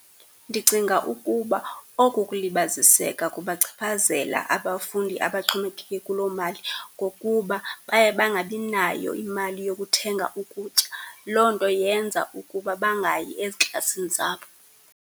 Ndicinga ukuba oku kulibaziseka kungachaphazela abafundi abaxhomekeke kuloo mali ngokuba baye bangabinayo imali yokuthenga ukutya. Loo nto yenza ukuba bangayi eziklasini zabo.